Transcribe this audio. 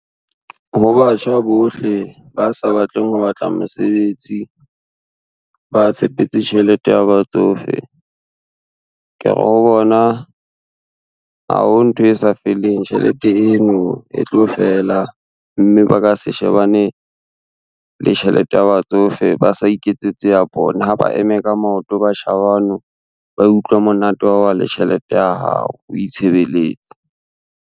Ho batjha bohle ba sa batleng ho batla mosebetsi, ba tshepetse tjhelete ya batsofe, ke re ho bona, ha ho ntho e sa feleng tjhelete eno e tlo fela, mme ba ka se shebane le tjhelete ya batsofe ba sa iketsetse ya bona, ha ba eme ka maoto batjha bano, ba utlwe monate wa oba le tjhelete ya hao o itshebeletse.